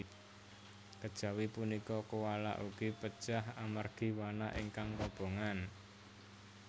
Kejawi punika koala ugi pejah amargi wana ingkang kobongan